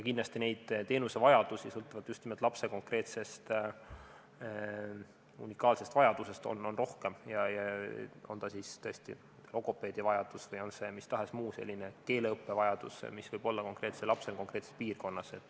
Kindlasti on teenusevajadusi sõltuvalt lapse konkreetsetest unikaalsetest vajadustest rohkem, on see siis logopeediteenuse vajadus või on mis tahes muu, näiteks keeleõppe vajadus, mis võib olla konkreetsel lapsel konkreetses piirkonnas.